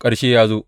Ƙarshe ya zo!